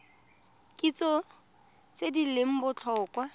kitso tse di leng botlhokwa